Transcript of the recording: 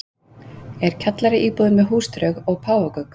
er kjallaraíbúðin með húsdraug og páfagauk